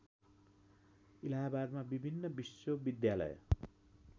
इलाहाबादमा विभिन्न विश्वविद्यालय